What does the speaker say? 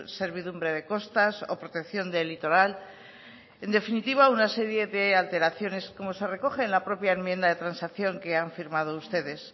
servidumbre de costas o protección del litoral en definitiva una serie de alteraciones como se recoge en la propia enmienda de transacción que han firmado ustedes